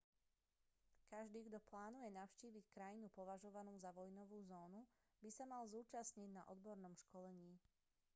každý kto plánuje navštíviť krajinu považovanú za vojnovú zónu by sa mal zúčastniť na odbornom školení